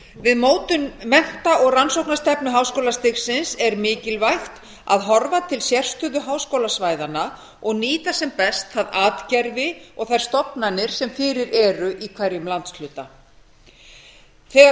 við mótun mennta og rannsóknastefnu háskólastigsins er mikilvægt að horfa til sérstöðu háskólasvæðanna og nýta sem best það atgervi og þær stofnanir sem fyrir eru í hverjum landshluta þegar